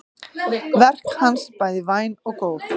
Verk hans bæði væn og góð.